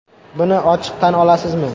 Buni ochiq tan olasizmi?